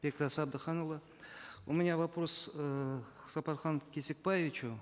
бектас әбдіханұлы у меня вопрос э к сапархану кесикбаевичу